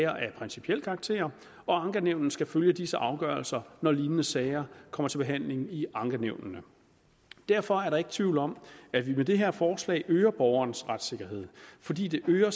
af principiel karakter og ankenævnene skal følge disse afgørelser når lignende sager kommer til behandling i ankenævnene derfor er der ikke tvivl om at vi med det her forslag øger borgernes retssikkerhed fordi det øger